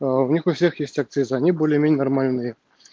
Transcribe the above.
аа у них у всех есть акцизы они более-менее нормальные